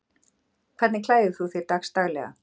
Hvernig klæðir þú þig dagsdaglega